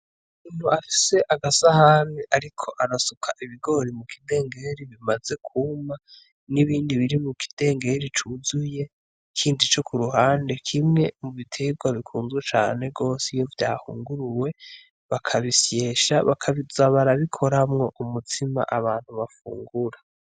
Muntu afise agasahami, ariko arasuka ibigori mu kidengeri bimaze kuma n'ibindi biri mu kidengeri cuzuye ikindi co ku ruhande kimwe mu biterwa bikunzwe cane rwose iyo vyahunguruwe bakabisyesha bakabizabarabikoramwo umutsima abantu bafungura.